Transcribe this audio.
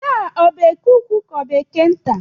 Taa ọ bụ eke ukwu ka ọ bụ eke nta?